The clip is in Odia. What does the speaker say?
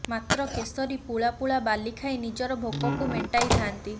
ମାତ୍ର କେଶରୀ ପୁଳା ପୁଳା ବାଲି ଖାଇ ନିଜର ଭୋକକୁ ମେଣ୍ଟାଇ ଥାନ୍ତି